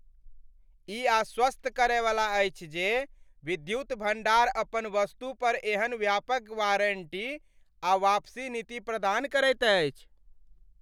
ई आश्वस्त करयवला अछि जे विद्युत भंडार अपन वस्तु पर एहन व्यापक वारंटी आ वापसी नीति प्रदान करैत अछि।